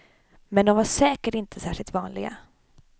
Men de var säkert inte särskilt vanliga.